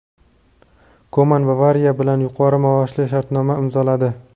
Koman "Bavariya" bilan yuqori maoshli shartnoma imzoladi.